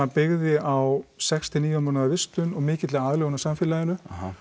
byggði á sex til níu mánaða vistun og mikilli aðlögun að samfélaginu